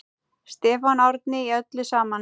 Stefán Árni: Í öllu saman?